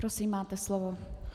Prosím, máte slovo.